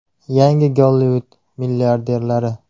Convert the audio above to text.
Yangi Gollivud milliarderlari.